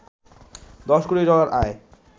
১০ কোটি ডলার আয়